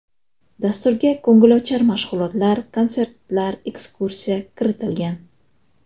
Dasturga ko‘ngilochar mashg‘ulotlar, konsertlar, ekskursiya kiritilgan.